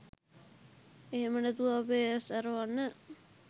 එහෙම නැතුව අපේ ඇස් ඇරවන්න